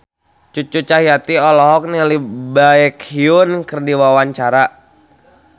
Cucu Cahyati olohok ningali Baekhyun keur diwawancara